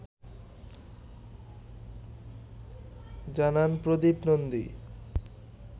জানান প্রদীপ নন্দী